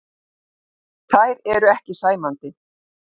Þær eru ekki sæmandi.